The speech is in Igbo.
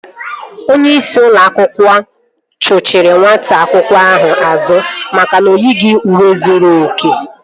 Onyeisi ụlọ akwụkwọ chuchiri nwata akwụkwọ ahụ azụ maka na oyighị uwe zuru oke